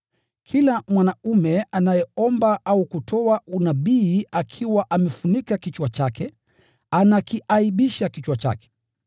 Kila mwanaume anayeomba au kutoa unabii akiwa amefunika kichwa chake, anakiaibisha kichwa chake.